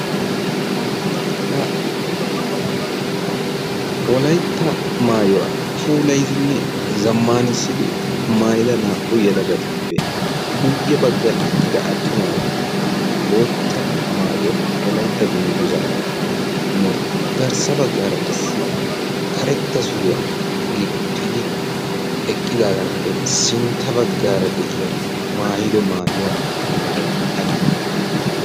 ha wolaytta maayuwaa pulaidinne zammaanissidi maayida naa''u yalagatuppe buyye baggan eqqida attumaagee bootta maayuwaa wolaytta dungguzaaranne garssa baggaara qassi karetta suriyaa gixxidi eqqidaagaappe sintta baggaara de'iyaara maayido maayuwaa meray aybe